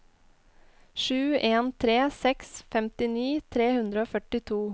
sju en tre seks femtini tre hundre og førtito